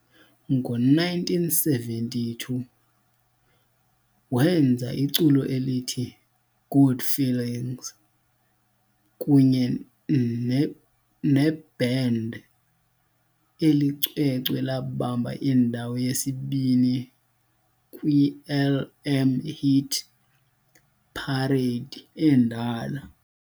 ngo1972 wenza iculo elithi "Good Feelings" kunye neband, eli cwecwe labamba indawo yesi-2 kwiLM Hit Parade endala.